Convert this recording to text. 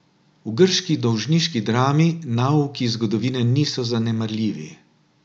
V grški dolžniški drami nauki zgodovine niso zanemarljivi.